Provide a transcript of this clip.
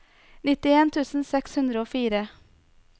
nittien tusen seks hundre og fire